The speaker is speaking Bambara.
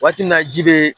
Waati min na ji bɛ